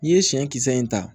N'i ye siɲɛ kisɛ in ta